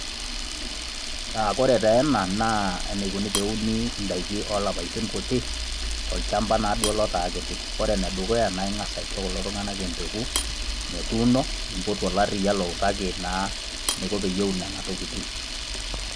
Ore taa ena naa eneikuni pee euni endaa o ilapaitin kuti, tolchamba naduo lotaa kiti. Ore ene dukuya naa ing'as aisho kulo tung'ana empeko metuuno, nimpotu ilariya loutaki naa eneiko pee eun Kuna tokitin.